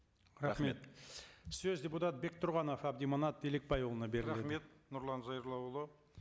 рахмет сөз депутат бектұрғанов әбдіманап елікбайұлына беріледі рахмет нұрлан зайроллаұлы